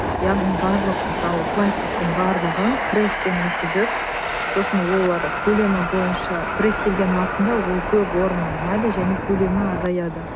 яғни барлық мысалы пластиктың барлығын престен өткізіп сосын олар көлемі бойынша престелген уақытында ол көп орын алмайды және көлемі азаяды